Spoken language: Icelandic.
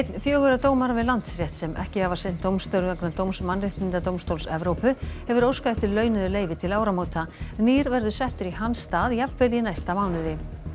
fjögurra dómara við Landsrétt sem ekki hafa sinnt dómstörfum vegna dóms Mannréttindadómstóls Evrópu hefur óskað eftir launuðu leyfi til áramóta nýr verður settur í hans stað jafnvel í næsta mánuði